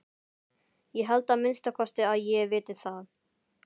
Ég held að minnsta kosti að ég viti það.